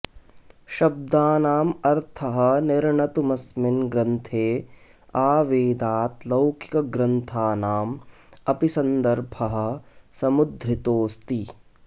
शब्दानाम् अर्थः निर्णतुमस्मिन् ग्रन्थे आवेदात् लौकिकग्रन्थानाम् अपि सन्दर्भः समुद्धृतोऽस्ति